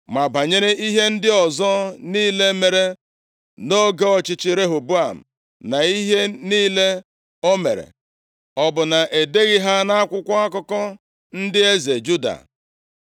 Ma banyere ihe ndị ọzọ niile mere nʼoge ọchịchị Rehoboam, na ihe niile o mere, ọ bụ na e deghị ha nʼakwụkwọ akụkọ ndị eze Juda?